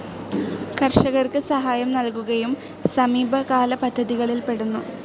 കർഷകർക്ക് സഹായം നൽകുകയും സമീപകാല പദ്ധതികളിൽ പെടുന്നു.